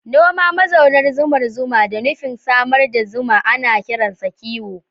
Noma mazaunan zumar zuma da nufin samar da zuma ana kiransa kiwo.